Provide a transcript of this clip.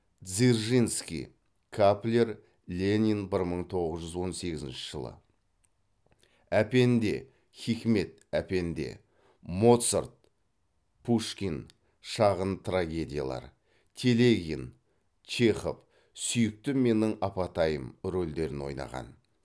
дзержинский каплер ленин бір мың тоғыз жүз он сегізінші жылы әпенде хикмет әпенде моцарт пушкин шағын трагедиялар телегин чехов сүйікті менің апатайым рөлдерін ойнаған